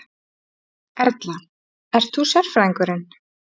Erla: Ert þú sérfræðingurinn?